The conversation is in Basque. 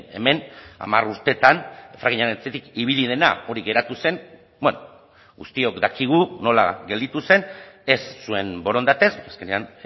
hemen hamar urteetan frackingaren atzetik ibili dena hori geratu zen bueno guztiok dakigu nola gelditu zen ez zuen borondatez azkenean